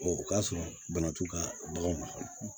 o k'a sɔrɔ bana t'u ka baganw mara